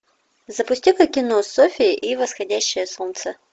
запусти ка кино софья и восходящее солнце